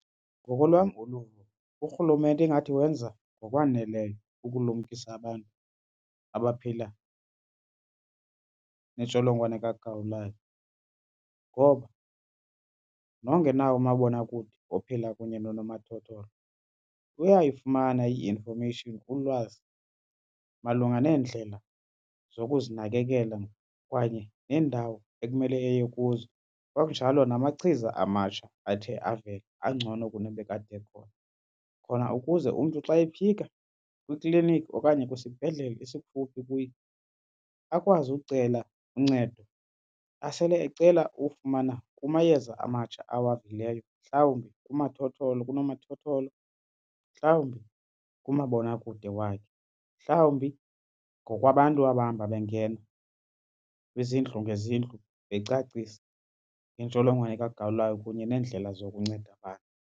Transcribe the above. Ngokolwam uluvo, uRhulumente ingathi wenza ngokwaneleyo ukulumkisa abantu abaphila nentsholongwane kagawulayo ngoba nongenawo umabonakude ophila kunye nonomathotholo uyayifumana i-information, ulwazi, malunga neendlela zokuzinakekela kwaye neendawo ekumele eye kuzo. Kwakunjalo namachiza amatsha athe avela angcono kunabekade ekhona. Khona ukuze umntu xa efika kwiklinikhi okanye kwisibhedlele esikufuphi kuye akwazi ucela uncedo asele ecela ufumana kumayeza amatsha awavileyo mhlawumbi kunomathotholo, mhlawumbi kumabonakude wakhe, mhlawumbi ngokwabantu abahamba bengena kwizindlu ngezindlu becacisa intsholongwane kagawulayo kunye neendlela zokunceda abantu.